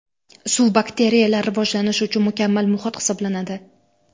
Suv bakteriyalar rivojlanishi uchun mukammal muhit hisoblanadi.